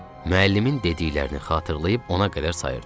Müəllimin dediklərini xatırlayıb ona qədər sayırdı.